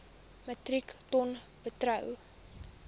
metrieke ton bruto